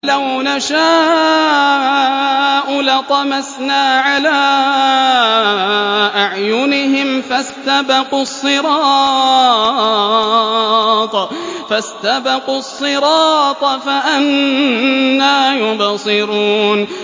وَلَوْ نَشَاءُ لَطَمَسْنَا عَلَىٰ أَعْيُنِهِمْ فَاسْتَبَقُوا الصِّرَاطَ فَأَنَّىٰ يُبْصِرُونَ